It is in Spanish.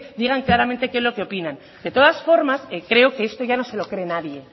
digan claramente qué es lo que opinan de todas formas creo que esto ya no se lo cree nadie